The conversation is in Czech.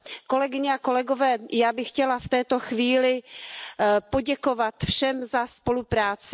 Kolegyně a kolegové, já bych chtěla v této chvíli poděkovat všem za spolupráci.